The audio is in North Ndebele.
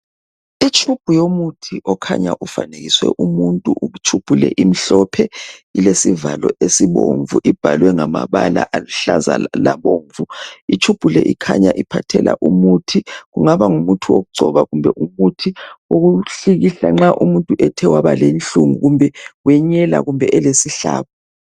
Itube yomuthi okhanya ukuthi ufanekiswe umuntu njalo kukhanya ilesivalo esibomvu ibhalwe ngamabala aluhlaza labomvu. Itube le iphathela umuthi kungaba ngumuthi wokugcoba kumbe umuthi wokuhlikihla nxa umuntu ethe waba lenhlungu kumbe wenyela kumbe elesihlabo.